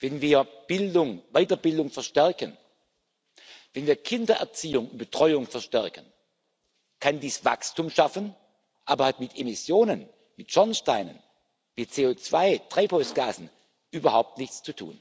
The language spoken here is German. wenn wir Bildung und Weiterbildung verstärken, wenn wir Kindererziehung und betreuung verstärken, kann dies Wachstum schaffen, hat aber mit Emissionen, mit Schornsteinen, mit CO2 Treibhausgasen überhaupt nichts zu tun.